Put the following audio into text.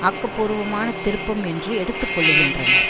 ஆக்க பூர்வமான திருப்பம் என்று எடுத்து கொள்ளுகின்றனர்